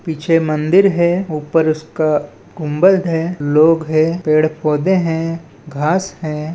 पीछे मंदिर है ऊपर उसका गुंबद है लोग हैं पेड़-पौधे हैं घास हैं।